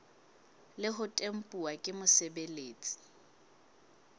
le ho tempuwa ke mosebeletsi